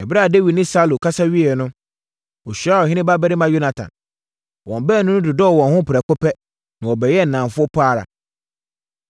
Ɛberɛ a Dawid ne Saulo kasa wieeɛ no, ɔhyiaa ɔhene babarima Yonatan. Wɔn baanu no dodɔɔ wɔn ho prɛko pɛ na wɔbɛyɛɛ nnamfo pa ara.